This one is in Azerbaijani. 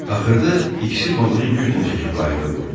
Axırda ikisi balığı güclə çəkib qayıqa qoydu.